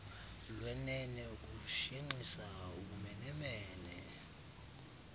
lwenene ukushenxisa ubumenemene